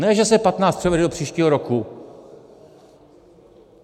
Ne že se 15 převede do příštího roku.